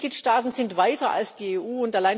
Die Mitgliedstaaten sind weiser als die EU.